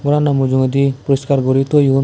gorano mujungodi poriskar guri toyon.